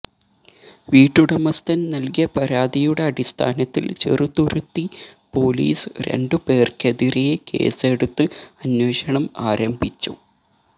വീട്ടുടമസ്ഥൻ നൽകിയ പരാതിയുടെ അടിസ്ഥാനത്തിൽ ചെറുതുരുത്തി പോലീസ് രണ്ടു പേർക്കതിരേ കേസെടുത്ത് അന്വേഷണം ആരംഭിച്ചു